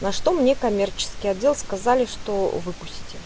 на что мне коммерческий отдел сказали что выпучтим